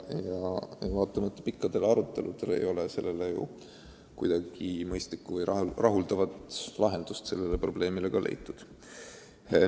Vaatamata pikkadele aruteludele ei ole sellele seni rahuldavat lahendust leitud.